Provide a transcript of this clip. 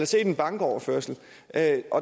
set en bankoverførsel og at